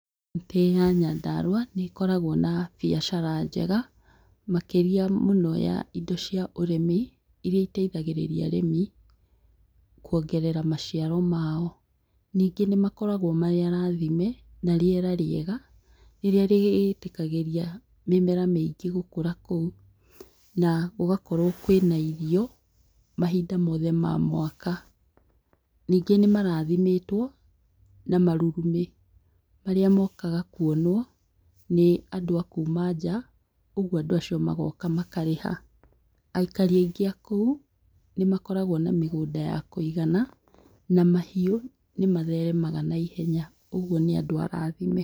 Kauntĩ ya Nyandarua nĩ ĩkoragwo na biacara njega, makĩria mũno ya indo cia ũrĩmi, iria iteithagĩrĩria arĩmi kwongerera maciaro mao. Nyingĩ nĩ makoragwo marĩ arathime na rĩera rĩega, rĩrĩa rĩtĩkagĩria mĩmera mĩingĩ gũkũra kũu na gũgakorwo kũĩna irio mahinda mothe ma mwaka. Nyingĩ nĩ marathimĩtwo na marurumĩ marĩa mokagwo kuonwo nĩ andũ aja, ũgwo andũ acio magoka makarĩha. Aikari aingĩ a kũu nĩmakoragwo na mĩgũnda ya kũigana na nĩmatheremaga na ihenya . ũguo nĩ andũ arathime.